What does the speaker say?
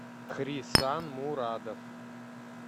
хрисан мурадов